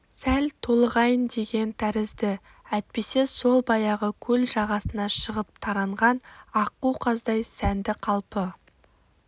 сәл толығайын деген тәрізді әйтпесе сол баяғы көл жағасына шығып таранған аққу-қаздай сәнді қалпы